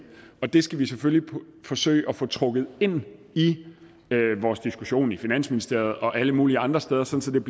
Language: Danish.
det skal vi selvfølgelig forsøge at få trukket ind i vores diskussion i finansministeriet og alle mulige andre steder sådan